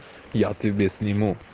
я тебе сниму